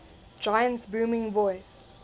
giant's booming voice